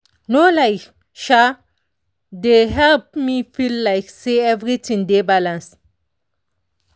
no lie um dey help me feel like say everything dey balanced.